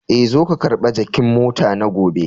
Eh,,zo ka karba jakin mota na gobe.